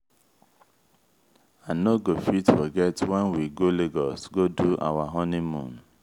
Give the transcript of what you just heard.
i no go fit forget wen we go lagos go do our honeymoon.